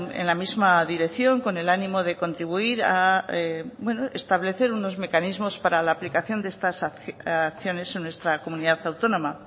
en la misma dirección con el ánimo de contribuir a establecer unos mecanismos para la aplicación de estas acciones en nuestra comunidad autónoma